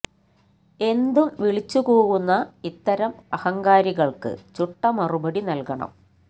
എന്തും വിളിച്ചു കൂവുന്ന ഇത്തരം അഹങ്കാരികള്ക്ക് ചുട്ട മറുപടി നല്കണം